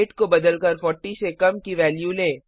wait को बदलकर 40 से कम की वैल्यू लें